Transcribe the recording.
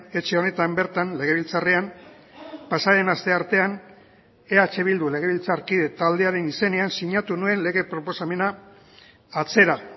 etxe honetan bertan legebiltzarrean pasaden asteartean eh bildu legebiltzarkide taldearen izenean sinatu nuen lege proposamena atzera